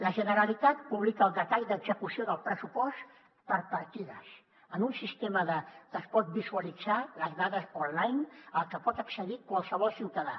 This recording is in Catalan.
la generalitat publica el detall d’execució del pressupost per partides en un sistema que es poden visualitzar les dades online al que pot accedir qualsevol ciutadà